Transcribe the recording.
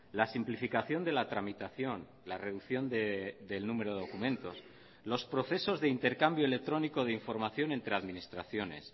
la simplificación de la tramitación la reducción del número de documentos los procesos de intercambio electrónico de información entre administraciones